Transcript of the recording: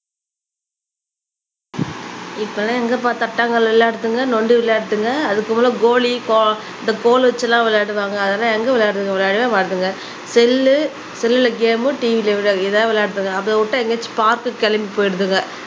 இப்பலாம் எங்கப்பா தட்டாங்கள் விளையாடுதுங்க நொண்டி விளையாடுதுங்க அது போல கோலி கோ இந்த கோல் வச்சு எல்லாம் விளையாடுவாங்க அதெல்லாம் எங்க விளையாடுறது விளையாடவே மாட்டாங்க செல்லு செல்ல கேம்மு TV ல இதான் விளையாடுதுங்க அத விட்டா எங்கயாச்சும் பார்க்கு கிளம்பி போயிடுதுங்க